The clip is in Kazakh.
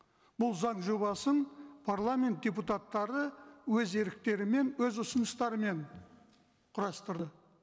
бұл заң жобасын парламент депутаттары өз еріктерімен өз ұсыныстарымен құрастырды